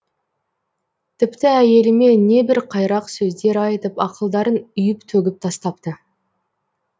тіпті әйеліме небір қайрақ сөздер айтып ақылдарын үйіп төгіп тастапты